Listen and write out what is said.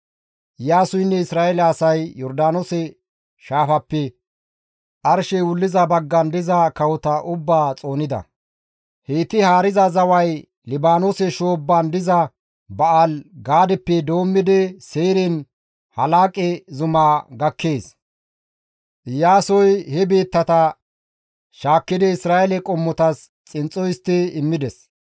Iyaasoynne Isra7eele asay Yordaanoose shaafappe arshey wulliza baggan diza kawota ubbaa xoonida. Heyti haariza zaway Libaanoose shoobban diza Ba7aali-Gaadeppe doommidi Seyren Halaaqe zumaa gakkees; Iyaasoy he biittata shaakkidi Isra7eele qommotas xinxxo histti immides.